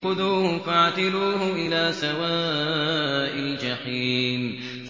خُذُوهُ فَاعْتِلُوهُ إِلَىٰ سَوَاءِ الْجَحِيمِ